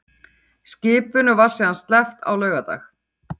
Skipinu var síðan sleppt á laugardag